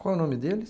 Qual o nome deles?